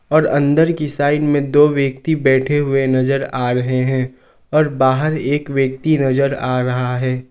और अंदर की साइड में दो व्यक्ति बैठे हुए नजर आ रहे हैं और बाहर एक व्यक्ति नजर आ रहा है।